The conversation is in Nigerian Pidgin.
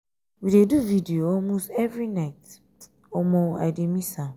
we dey do video all most every night. omo i dey miss am..